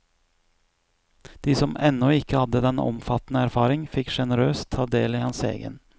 De som ennå ikke hadde den omfattende erfaring, fikk generøst ta del i hans egen.